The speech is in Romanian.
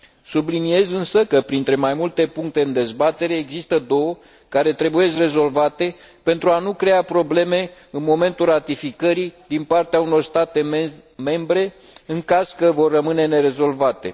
Subliniez însă că printre mai multe puncte în dezbatere există două care trebuie rezolvate pentru a nu crea probleme în momentul ratificării din partea unor state membre în caz că vor rămâne nerezolvate.